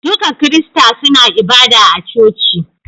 Duka kirista suna ibada a coci